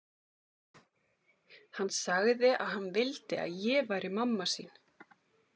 Hann sagði að hann vildi að ég væri mamma sín.